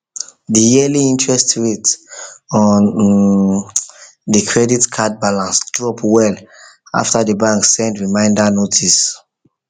the yearly interest rate on um the credit card balance drop well after the bank send reminder notice